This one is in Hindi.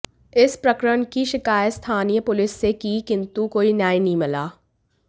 इस प्रकरण की शिकायत स्थानीय पुलिस से की किंतु कोई न्याय नहीं मिला